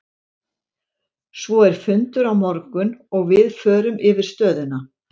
Svo er fundur á morgun og við förum yfir stöðuna.